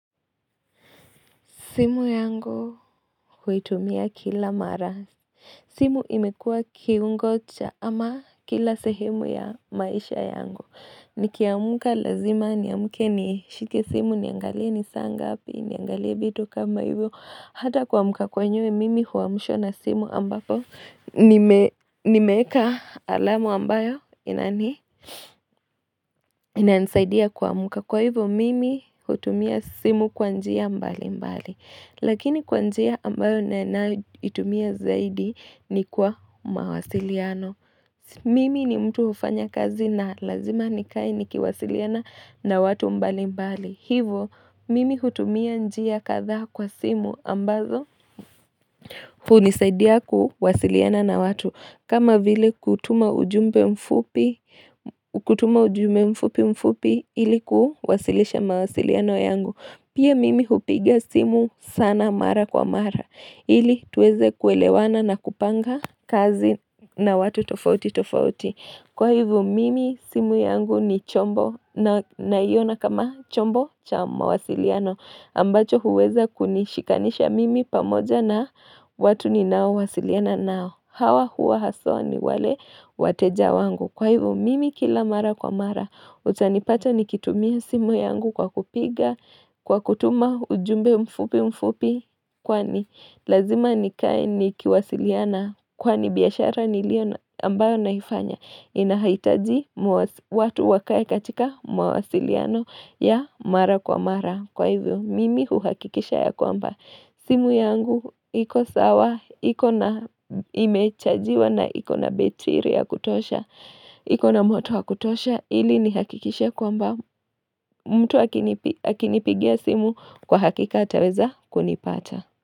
Simu yangu huitumia kila mara. Simu imekuwa kiungo cha ama kila sehemu ya maisha yangu. Nikiamka lazima, niamke nishike simu, niangalia ni saa ngapi, niangalia vitu kama hivyo. Hata kuamka kwenyewe mimi huamshwa na simu ambapo nimeeka alamu ambayo inani? Inanisaidia kuamka. Kwa hivyo mimi hutumia simu kwa njia mbalimbali. Lakini kwa njia ambayo naitumia zaidi ni kwa mawasiliano. Mimi ni mtu hufanya kazi na lazima nikae nikiwasiliana na watu mbalimbali. Hivyo, mimi hutumia njia kadha kwa simu ambazo hunisaidia kuwasiliana na watu. Kama vile kutuma ujumbe mfupi, kutuma ujumbe mfupi mfupi ili kuwasilisha mawasiliano yangu. Pia mimi hupiga simu sana mara kwa mara, ili tuweze kuelewana na kupanga kazi na watu tofauti tofauti. Kwa hivyo mimi simu yangu ni chombo na naiona kama chombo cha mawasiliano, ambacho huweza kunishikanisha mimi pamoja na watu ninaowasiliana nao. Hawa huwa haswa ni wale wateja wangu. Kwa hivyo mimi kila mara kwa mara utanipata nikitumia simu yangu kwa kupiga Kwa kutuma ujumbe mfupi mfupi kwani lazima nikae nikiwasiliana kwani biashara niliyo ambayo naifanya inahitaji watu wakae katika mawasiliano ya mara kwa mara. Kwa hivyo mimi huhakikisha ya kwamba simu yangu iko sawa iko na imechajiwa na iko na betiri ya kutosha iko na moto wa kutosha ili nihakikishe kwamba mtu hakinipigia simu kwa hakika ataweza kunipata.